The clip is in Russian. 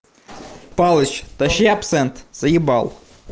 палыч тащи абсент заъебал